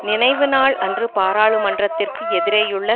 நினைவு நாள் அன்று பாராளுமன்றத்திற்கு எதிரேயுள்ள